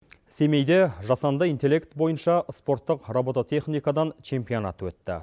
семейде жасанды интелект бойынша спорттық робототехникадан чемпионат өтті